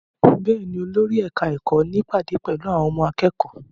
Bẹ́ẹ̀ ni, olórí ẹ̀ka-ẹ̀kọ́ ní ìpàdé pẹ̀lú àwọn akẹ́kọ̀ọ́.